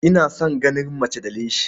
Ina son ganin mace da leshi.